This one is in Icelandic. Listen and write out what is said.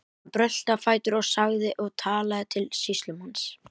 Hann brölti á fætur og sagði og talaði til sýslumanns